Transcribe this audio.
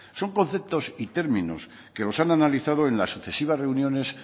son conceptos y términos que los ha analizado en las sucesivas reuniones